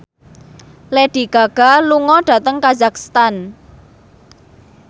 Lady Gaga lunga dhateng kazakhstan